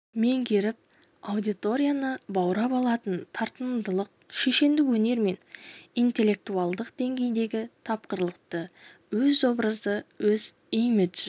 меңгеріп аудиторияны баурап алатын тартымдылық шешендік өнер мен интеллектуальдық деңгейдегі тапқырлықты өз образы өз имиджі